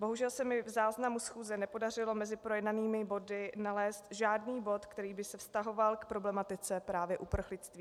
Bohužel se mi v záznamu schůze nepodařilo mezi projednanými body nalézt žádný bod, který by se vztahoval k problematice právě uprchlictví.